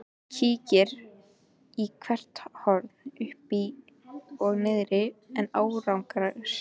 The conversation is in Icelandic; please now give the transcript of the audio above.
Kíkir í hvert horn uppi og niðri en án árangurs.